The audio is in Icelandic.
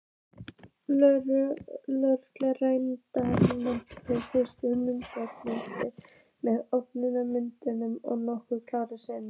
Lögreglumennirnir fylgdust undrandi með, opinmynntir og nokkrir kjálkar sigu.